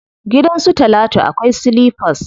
Gidan su talatu akwai silifas.